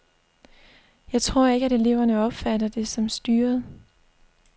Jeg tror ikke, at eleverne opfatter det som styret.